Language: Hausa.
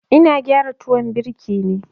Ina gyara tuwon birki ne.